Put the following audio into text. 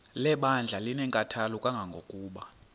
lebandla linenkathalo kangangokuba